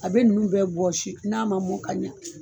A bɛ ninnu bɛɛ bɔsi n'a man mɔn ka ɲa.